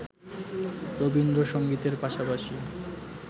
রবীন্দ্রসংগীতের পাশাপাশি